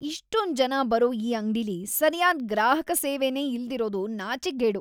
ಇಷ್ಟೊಂದ್‌ ಜನ ಬರೋ ಈ ಅಂಗ್ಡಿಲಿ ಸರ್ಯಾದ್ ಗ್ರಾಹಕ ಸೇವೆನೇ ಇಲ್ದಿರೋದು ನಾಚಿಕ್ಗೇಡು.